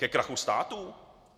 Ke krachu států?